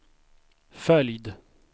följd